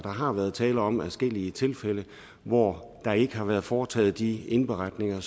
har været tale om adskillige tilfælde hvor der ikke har været foretaget de indberetninger